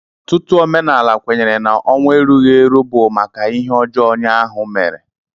Ọtutu omenala kwenyere na ọnwụ erughi eru bu maka ihe ọjọ onye ahu mere.